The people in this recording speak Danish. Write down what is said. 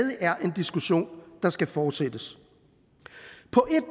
er en diskussion der skal fortsættes